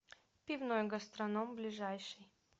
пивной гастроном ближайший